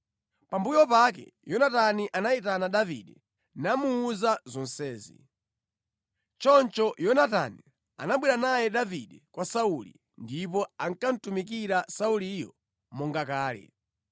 Pambuyo pake Yonatani anayitana Davide namuwuza zonsezi. Choncho Yonatani anabwera naye Davide kwa Sauli ndipo ankamutumikira Sauliyo monga kale.